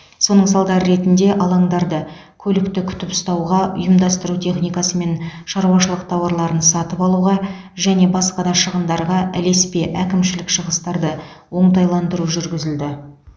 соның салдары ретінде алаңдарды көлікті күтіп ұстауға ұйымдастыру техникасы мен шаруашылық тауарларын сатып алуға және басқа да шығындарға ілеспе әкімшілік шығыстарды оңтайландыру жүргізілді